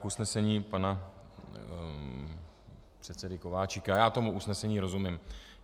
K usnesení pana předsedy Kováčika: Já tomu usnesení rozumím.